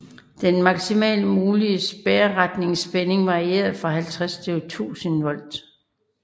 Den maksimale mulige spærreretningsspænding varierer fra 50 til 1000 volt